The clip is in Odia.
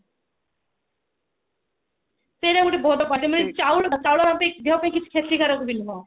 ସେଟ ଗୋଟେ ବହୁତ ମାନେ ଚାଉଳ ଆମ ଦେହ ପାଇଁ କିଛି କ୍ଷତିକାରକ ବି ନୁହଁ